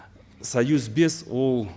союз бес ол